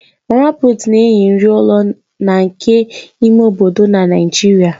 Mama Puut na-enye nri ụlọ na nke ime obodo na Naịjirịa